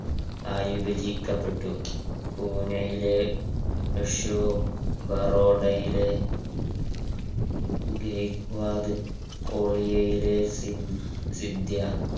ആയി വിഭജിക്കപ്പെട്ടു പുനെയിലെ യശോ ബറോഡയിലെ ഗായികവാട്